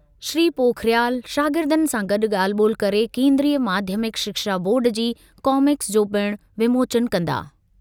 श्री पोखरियाल शागिर्दनि सां गॾु ॻाल्हि ॿोल्हि करे केन्द्रीय माध्यमिक शिक्षा बोर्ड जी कॉमिक्स जो पिणु विमोचन कंदा।